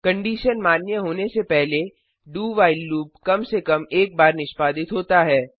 condition मान्य होने से पहले doव्हाइल लूप कम से कम एक बार निष्पादित होता है